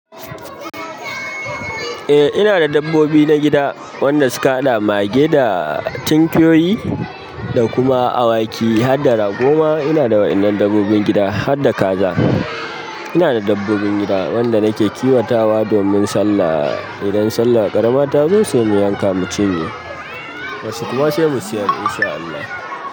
Eh ina da dabbobi na gida wanda suka haɗa mage da tinkiyoyi da kuma awaki harda ragoma. Inada waƴannan dabbobin gida harda kaza ina da dabbobin gida wanda nake kiwatawa domin Sallah. Idan sallah ƙarama tazo se mu yanka mu cinye wasu kuma sai mu siyar in sha Allah.